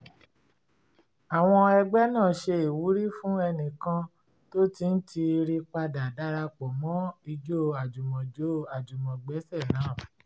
àwọn ẹgbẹ́ náà ṣe ìwúrí fún ẹnìkan tó ti ń tiiri padà darapo mọ́ ijó àjùmọ̀jó-àjùmọ̀gbẹ́sẹ̀ naa